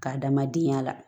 K'a damadenya la